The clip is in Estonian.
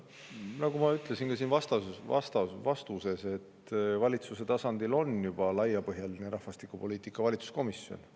Nagu ma ütlesin ka oma vastuses: valitsuse tasandil on juba olemas laiapõhjaline rahvastikupoliitika valitsuskomisjon.